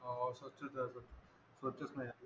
स्वच्छच राहतो स्वच्छच नाही आहे